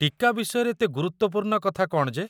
ଟୀକା ବିଷୟରେ ଏତେ ଗୁରୁତ୍ୱପୂର୍ଣ୍ଣ କଥା କ'ଣ ଯେ?